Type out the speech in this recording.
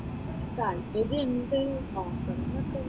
താത്പര്യം ഇണ്ട്, താത്പര്യം ഒക്കെ ഉണ്ട്.